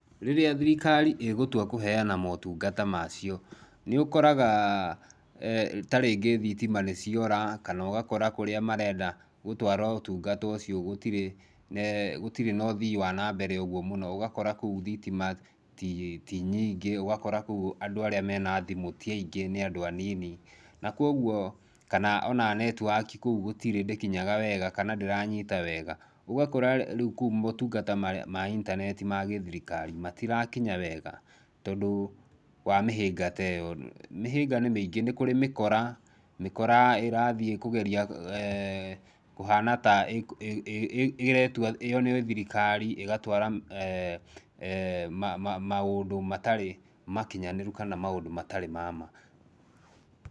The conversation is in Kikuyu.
Rĩrĩa thirikari ĩgũtua kũheana motungata macio, nĩũkoraga ta rĩngĩ thitima nĩ ciora kana ũgakora kũrĩa merenda gũtwara ũtungata ũcio gũtirĩ gũtiri na ũthii wa nambere ũguo mũno, ũgakora kou thitima ti nyingĩ, ũgakora kou andũ arĩa me na thimũ ti aingĩ nĩ andũ anini na kwoguo kana ona netiwaki kou gũtirĩ ndĩkinyaga wega kana ndĩranyita wega ũgakora rĩu kou motungata ma intaneti ma gĩthirikari matirakinya wega tondũ wa mĩhĩnga ta ĩyo. Mĩhĩnga nĩ mĩingĩ, nĩ kũrĩ mĩkora, mĩkora ĩrathiĩ kũgeria kũhana ta ĩĩ ĩretua yo nĩ thirikari ĩgatwara maũndũ matarĩ makinyanĩrũ, kana maũndũ matarĩ ma ma.